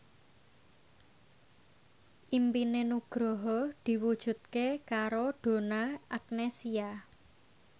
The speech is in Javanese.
impine Nugroho diwujudke karo Donna Agnesia